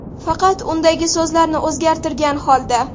Faqat undagi so‘zlarni o‘zgartirgan holda.